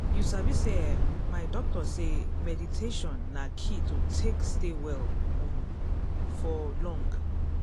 you sabi say eeh my doctor talk sey meditation na key to take stay well um for long time.